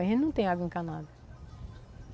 A gente não tem água encanada.